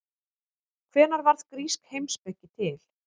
Hvenær varð grísk heimspeki til?